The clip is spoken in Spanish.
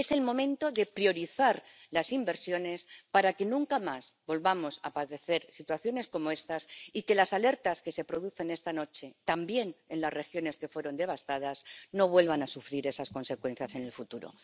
Es el momento de priorizar las inversiones para que nunca más volvamos a padecer situaciones como estas, y para que las alertas que se producen esta noche, también en las regiones que fueron devastadas, no vuelvan a tener esas consecuencias en el futuro.